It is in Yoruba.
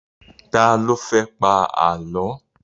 Ta ló fẹ́ pa Àlọ́?